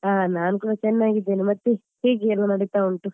ಹಾ ನಾನ್ ಕೂಡ ಚೆನ್ನಾಗಿದ್ದೇನೆ ಮತ್ತೆ ಹೇಗೆ ಎಲ್ಲ ನಡೀತಾ ಉಂಟು .